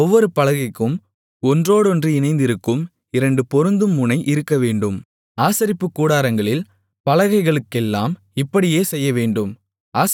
ஒவ்வொரு பலகைக்கும் ஒன்றோடொன்று இணைந்திருக்கும் இரண்டு பொருந்தும் முனை இருக்கவேண்டும் ஆசரிப்புக் கூடாரங்களில் பலகைகளுக்கெல்லாம் இப்படியே செய்யவேண்டும்